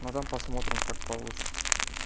ну там посмотрим как получится